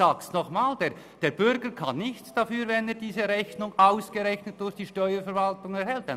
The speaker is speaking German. Der Bürger kann nichts dafür, wenn er eine Rechnung erhält, die durch die Steuerverwaltung zu hoch berechnet wurde.